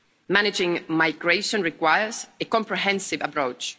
Managing migration requires a comprehensive approach.